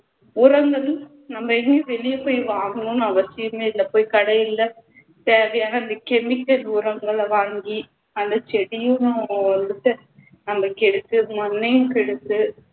உரங்களும் நம்ம எதுவும் வெளிய போய் வாங்கணும்னு அவசியமே இல்ல போய் கடையில தேவையான vitamins உரங்களை வாங்கி அந்த செடியும் ஆஹ் வந்துட்டு அந்த செடிக்கு மண்ணையும் கெடுத்து